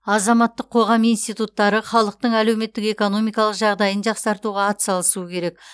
азаматтық қоғам институттары халықтың әлеуметтік экономикалық жағдайын жақсартуға атсалысуы керек